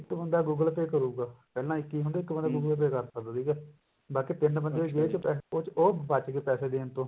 ਇੱਕ ਹੁੰਦਾ google pay ਕਰੂਗਾ ਪਹਿਲਾਂ ਇੱਕ ਹੀ ਹੁੰਦਾ ਇੱਕ ਬੰਦਾ google pay ਕਰ ਸਕਦਾ ਸੀਗਾ ਬਾਕੀ ਤਿੰਨ ਬੰਦੇ ਜੇਬ ਚ ਪੈਸੇ ਉਸ ਚ ਉਹ ਬੱਚ ਗਏ ਪੈਸੇ ਦੇਣ ਤੋਂ